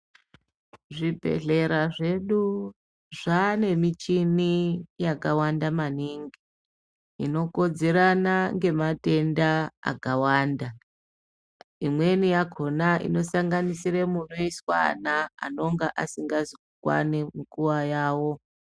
Zvibhedhlera zvedu Zvane michini yakawanda maningi inokodzerana nematenda akawanda imweni yakona inosanganisira munoiswa vana anonga asingazi kukwana munguwa yawo.